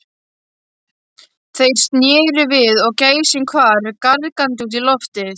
Þeir sneru við og gæsin hvarf gargandi út í loftið.